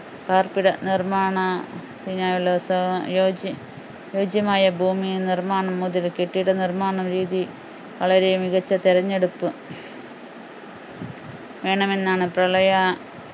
പാർപ്പിട നിർമാണത്തിനായുള്ള ഉത്തമ യോജി അനുയോജ്യമായ ഭൂമിയിൽ നിർമ്മാണം മുതൽ കെട്ടിട നിർമ്മാണ രീതി വളരെ മികച്ച തെരഞ്ഞെടുപ്പു വേണമെന്നാണ് പ്രളയ